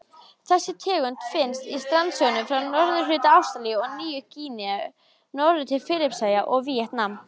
Þessi tegund finnst í strandsjónum frá norðurhluta Ástralíu og Nýju-Gíneu norður til Filippseyja og Víetnam.